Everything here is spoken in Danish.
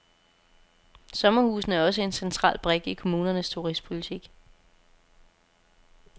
Sommerhusene er også en central brik i kommunernes turistpolitik.